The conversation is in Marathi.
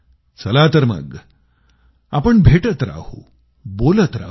चला तर मग आपण भेटत राहू बोलतं राहू